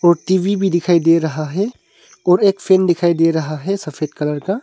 TV भी दिखाई दे रहा है और एक फेन दिखाई दे रहा है सफेद कलर का।